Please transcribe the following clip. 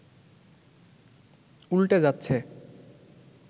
উল্টে যাচ্ছে